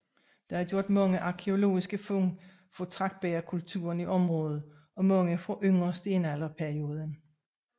Der er gjort mange arkæologiske fund fra tragtbægerkulturen i området og mange fra yngre stenalder perioden